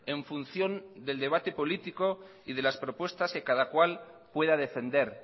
en función del debate político y de las propuestas que cada cual pueda defender